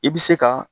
I bɛ se ka